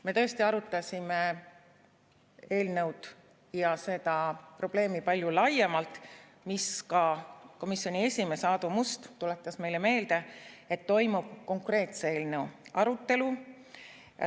Me tõesti arutasime eelnõu ja seda probleemi palju laiemalt ning komisjoni esimees Aadu Must tuletas meile meelde, et toimub konkreetse eelnõu arutelu.